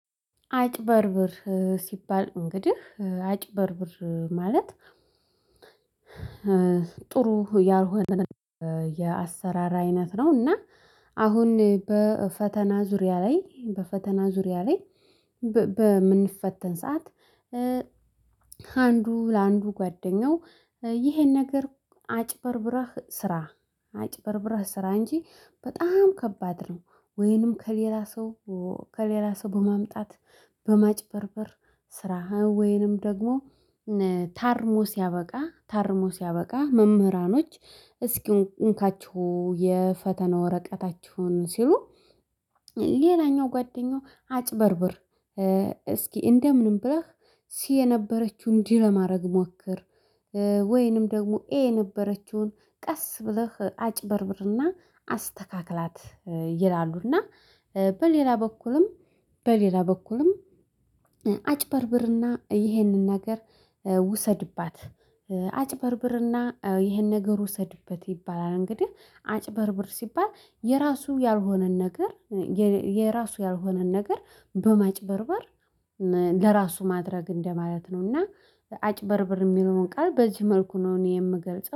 አጭበርብር ሲባል እንግዲህ አጭበርብር ማለት ጥሩ ያልሆነ የአሰራር አይነት ነው። እና አሁን በፈተና ዙሪያ ላይ በፈተና ዙሪያ ላይ በምንፈተን ሰዓት ከአንዱ ለአንዱ ጓደኛው ይሄን ነገር አጭበርብረህ ስራ አጭበርብረህ ስራ እንጂ በጣም ከባድ ነው። ወይንም ከሌላ ሰው ከሌላ ሰው በማምጣት በማጭበርበር ስራህ ወይንም ደግሞ ታርሞ ሲያበቃ ታርሞ ሲያበቃ መምህራኖች እስኪንካችሁ የፈተና ወረቀታችሁን ሲሉ። ሌላኛው ጓደኛው አጭበርብር እስኪ እንደምንም ብረህ ሲ የነበረችው እንዲህ ለማድረግ ሞክር። ወይንም ደግሞ ኤ የነበረችውን ቀስ ብለህ አጭበርብርና አስተካክላት ይላሉና። በሌላ በኩልም በሌላ በኩልም አጭበርብርና ይሄንን ነገር ውሰድባት አጭበርብርና ይሄን ነገር ውሰድበት ይባላል። እንግዲህ አጭበርብር ሲባል የራሱ ያልሆነን ነገር የራሱ ያልሆነን ነገር በማጭበርበር ለራሱ ማድረግ እንደማለት ነው። እና አጭበርብር የሚለውን ቃል በዚህ መልኩ ነው እኔ የምገልጸው